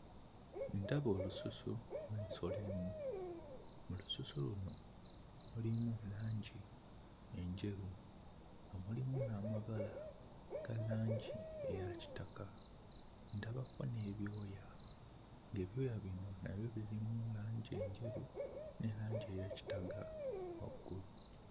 Ndaba olususu lw'ensolo emu mu lususu luno mulimu langi enjeru nga mulimu n'amabala ga langi eya kitaka ndabako n'ebyoya ebyoya bino nabyo birimu langi enjeru ne langi eya kitaga waggulu.